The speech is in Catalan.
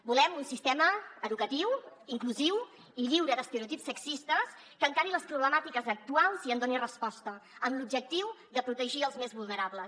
volem un sistema educatiu inclusiu i lliure d’estereotips sexistes que encari les problemàtiques actuals i en doni resposta amb l’objectiu de protegir els més vulnerables